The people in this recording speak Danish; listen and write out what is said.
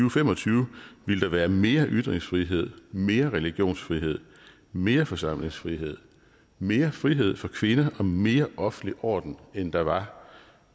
og fem og tyve ville være mere ytringsfrihed mere religionsfrihed mere forsamlingsfrihed mere frihed for kvinder og mere offentlig orden end der var